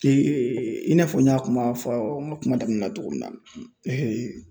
i n'a fɔ n y'a kuma fɔ n ka kuma daminɛ na cogo min na